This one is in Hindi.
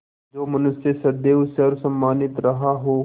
जो मनुष्य सदैव सर्वसम्मानित रहा हो